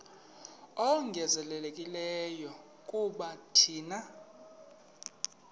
ongezelelekileyo kuba thina